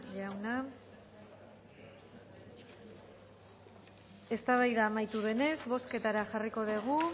jauna eztabaida amaitu denez bozketara jarriko dugu